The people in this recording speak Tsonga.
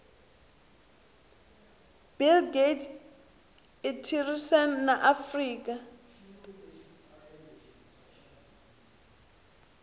bill gates itirisana na afrika